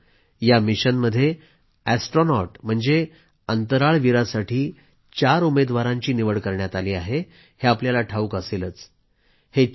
मित्रांनो या मिशनमध्ये अॅस्ट्रोनॉट म्हणजे अंतराळवीरासाठी चार उमेदवारांची निवड करण्यात आली आहे हे आपल्याला ठावूक असेलच